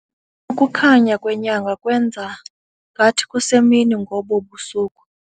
Ukukhanya kwenyanga kwenza ngathi kusemini ngobu busuku.